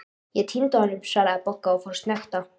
Ég týndi honum svaraði Bogga og fór að snökta.